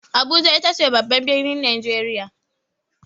Abuja ita ce babban birnin Najeriya.